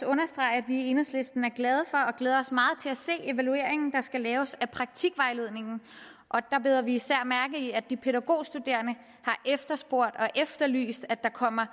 understrege at vi i enhedslisten er glade for og glæder os meget til at se evalueringen der skal laves af praktikvejledningen og der bider vi især mærke i at de pædagogstuderende har efterspurgt og efterlyst at der kommer